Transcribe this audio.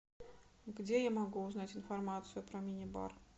где я могу узнать информацию про мини бар